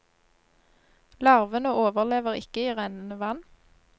Larvene overlever ikke i rennende vann.